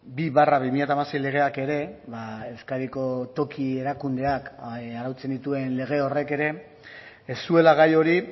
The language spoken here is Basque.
bi barra bi mila hamasei legeak ere euskadiko toki erakundeak arautzen dituen lege horrek ere ez zuela gai hori